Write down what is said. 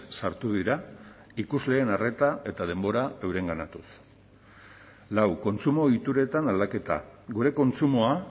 sartu dira ikusleen arreta eta denbora eurenganatuz lau kontsumo ohituretan aldaketa gure kontsumoa